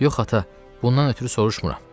Yox ata, bundan ötrü soruşmuram.